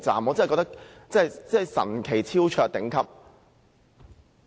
我認為真是神奇、超卓、頂級。